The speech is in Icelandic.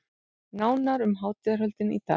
Nánar um hátíðarhöldin í dag